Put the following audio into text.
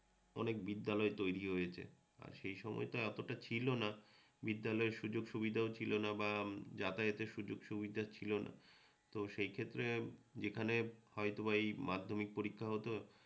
অনেক বিদ্যালয় তৈরি হয়েছে আর সেই সময়তো এতটা ছিলনা। বিদ্যালয়ের সুযোগসুবিধাও ছিলনা বা যাতায়াতের সুযোগসুবিধা ছিলনা। তো সেই ক্ষেত্রে এখানে হয়ত বা